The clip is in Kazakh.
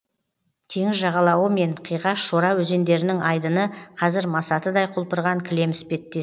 теңіз жағалауы мен қиғаш шора өзендерінің айдыны қазір масатыдай құлпырған кілем іспеттес